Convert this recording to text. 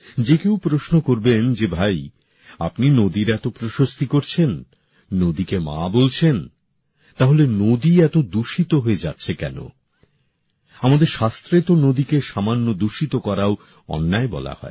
যে কেউ প্রশ্ন করবেন যে ভাই আপনি নদীর এত প্রশস্তি করছেন নদীকে মা বলছেন তাহলে নদী এত দূষিত হয়ে যাচ্ছে কেন আমাদের শাস্ত্রে তো নদীকে সামান্য দূষিত করাও অন্যায় বলা হয়